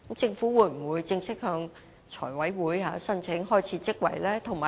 政府會否正式向財務委員會申請開設職位呢？